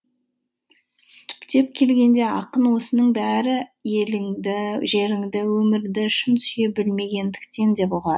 түптеп келгенде ақын осының бәрі еліңді жеріңді өмірді шын сүйе білмегендіктен деп